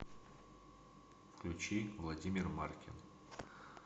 включи владимир маркин